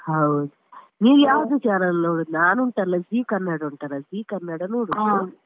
ಹೌದ್ ನೀನು ಯಾವ್ದು channel ನೊಡುದು? ನಾನ್ ಉಂಟಲ್ಲ Zee ಕನ್ನಡ ಉಂಟಲ್ಲ Zee ಕನ್ನಡ ನೋಡುದು.